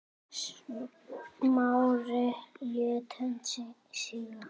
Smári lét höndina síga.